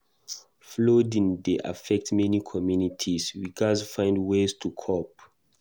Flooding dey affect many communities; we gatz find ways to cope.